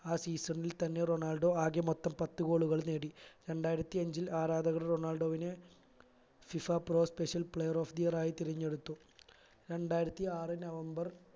ആ season ൽ തന്നെ റൊണാൾഡോ ആകെ മൊത്തം പത്തു goal കൾ നേടി രണ്ടായിരത്തി അഞ്ചിൽ ആരാധകർ റൊണാൾഡോവിനെ FIFApro special player of the year തിരഞ്ഞെടുത്തു രണ്ടായിരത്തി ആറ് നവംബർ